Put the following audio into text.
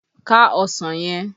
Ká ọsàn yẹn!